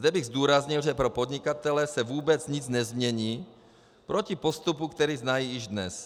Zde bych zdůraznil, že pro podnikatele se vůbec nic nezmění proti postupu, který znají již dnes.